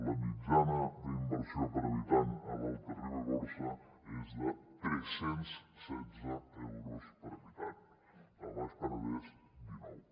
la mitjana d’inversió per habitant a l’alta ribagorça és de tres cents i setze euros per habitant al baix penedès dinou